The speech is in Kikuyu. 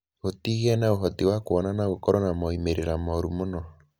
Gũtigĩa na ũhoti wa kuona no gũkorũo na moimĩrĩro moru mũno.